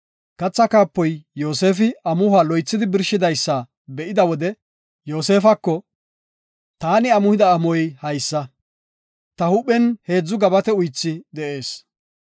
Kathaa kaapoy Yoosefi amuhuwa loythidi birshidaysa be7ida wode Yoosefako, “Taani amuhida amuhoy haysa; ta huuphen heedzu gabate uythi de7ees;